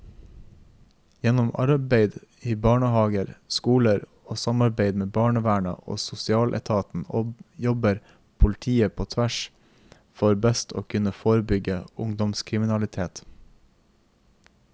Gjennom arbeid i barnehaver, skoler og samarbeid med barnevernet og sosialetaten jobber politiet på tvers for best å kunne forebygge ungdomskriminalitet.